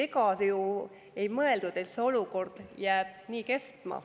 Ega ju ei mõeldud, et see olukord jääb nii kestma.